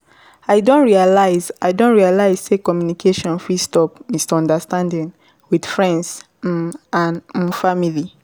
I don realize I don realize sey communication fit stop misunderstanding with friends um and um family.